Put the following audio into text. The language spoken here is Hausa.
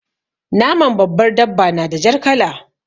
Naman babbar dabba na da jar kala.